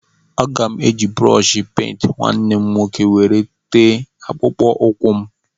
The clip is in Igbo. Aga m eji brọshi pent nwanne m nwoke were tee akpụkpọ ụkwụ m.